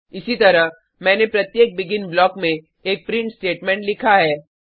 इसी तरह मैंने प्रत्येक बेगिन ब्लॉक में एक प्रिंट स्टेटमेंट लिखा है